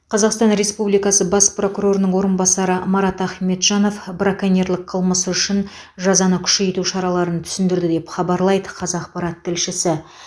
қазақстан республикасы бас прокурорының орынбасары марат ахметжанов браконьерлік қылмысы үшін жазаны күшейту шараларын түсіндірді деп хабарлайды қазақпарат тілшісі